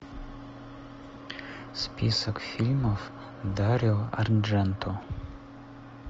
список фильмов дарио ардженто